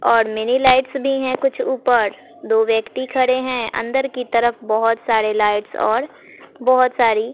और mini lights भी है कुछ ऊपर दो व्यक्ति खड़े हैं अंदर की तरफ बहोत सारे लाइट्स और बहोत सारी--